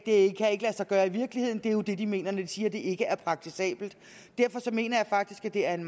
det kan ikke lade sig gøre i virkeligheden det er jo det de mener når de siger at det ikke er praktisabelt derfor mener jeg faktisk at det er en